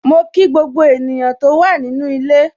Mo kí gbogbo ènìyàn tó wà nínu ilé.